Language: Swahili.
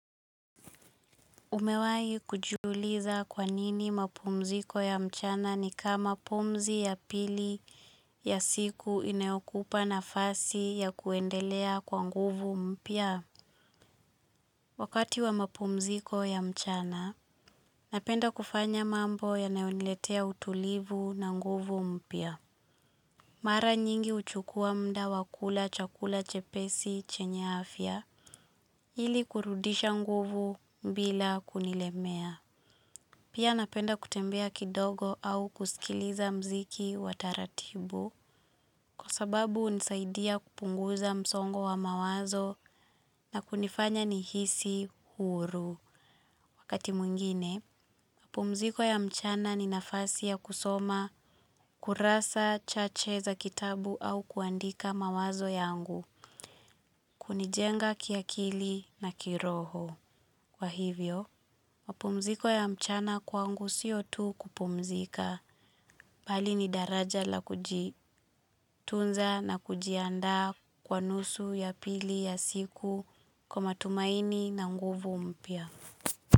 Umewahi kujiuliza kwa nini mapumziko ya mchana ni kama pumzi ya pili ya siku inayokupa nafasi ya kuendelea kwa nguvu mpya. Wakati wa mapumziko ya mchana, napenda kufanya mambo yanayoniletea utulivu na nguvu mpya. Mara nyingi huchukua muda wa kula chakula chepesi chenya afya, ili kurudisha nguvu bila kunilemea. Pia napenda kutembea kidogo au kusikiliza mziki wa taratibu kwa sababu hunisaidia kupunguza msongo wa mawazo na kunifanya nihisi huru. Wakati mwingine, mapumziko ya mchana ni nafasi ya kusoma, kurasa, chache za kitabu au kuandika mawazo yangu, kunijenga kiakili na kiroho. Kwa hivyo, mapumziko ya mchana kwangu sio tu kupumzika, bali ni daraja la kujitunza na kujianda kwa nusu ya pili ya siku kwa matumaini na nguvu mpya.